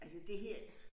Altså det her